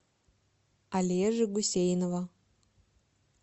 олежи гусейнова